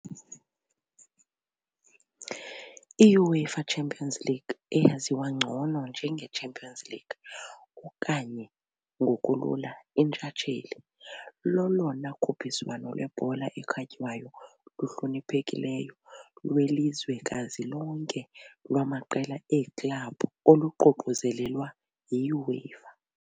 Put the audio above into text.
IUEFA Champions League, eyaziwa ngcono njenge Champions League okanye ngokulula iNtshatsheli, lolona khuphiswano lwebhola ekhatywayo luhloniphekileyo lwelizwekazi lonke lwamaqela eeklabhu oluququzelelwa yi UEFA .